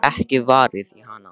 Það er ekkert varið í hana.